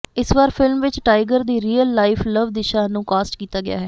ਇਸ ਵਾਰ ਫਿਲਮ ਵਿੱਚ ਟਾਈਗਰ ਦੀ ਰੀਅਲ ਲਾਈਫ ਲਵ ਦਿਸ਼ਾ ਨੂੰ ਕਾਸਟ ਕੀਤਾ ਗਿਆ ਹੈ